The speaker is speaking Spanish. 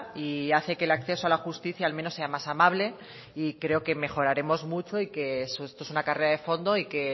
y hace que el acceso a la justicia al menos sea más amable y creo que mejoraremos mucho y que esto es una carrera de fondo y que